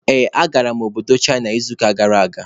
Ee, agara m obodo Chịna n'izuụka gara aga.